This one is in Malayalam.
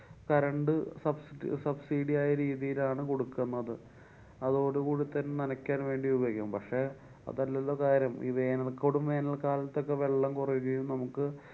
current sub~ subsidy ആയ രീതിയിലാണ് കൊടുക്കുന്നത്. അതോടു കൂടെ തന്നെ നനക്കാന്‍ വേണ്ടി ഉപയോഗിക്കാം. പക്ഷെ അതല്ലല്ലോ കാര്യം, ഈ വേനല്കോടും വേനല്ക്കാലത്തൊക്കെവെള്ളം കുറയുകയും നമുക്ക്